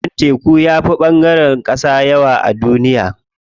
Ɓangaren teku yafi ɓangaren ƙasa yawa a duniya.